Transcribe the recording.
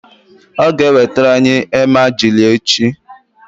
ọ ga-ewetara anyị emajli echi